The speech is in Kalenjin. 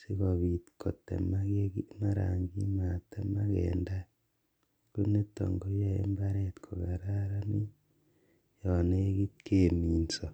sikobit kotemaka yen maran kimatemak en tai konito koyoe mbaret kokararanit yon nekit keminso.